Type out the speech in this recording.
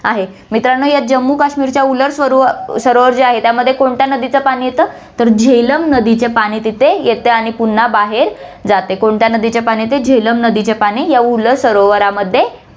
आहे. मित्रांनो, या जम्मू काश्मीरच्या उलर सरो~ सरोवर जे आहे, त्यामध्ये कोणत्या नदीचं पाणी येतं, तर झेलम नदीचे पाणी तिथे येतं आणि पुन्हा बाहेर जाते, कोणत्या नदीचे पाणी येते, झेलम नदीचे पाणी या उलर सरोवरमध्ये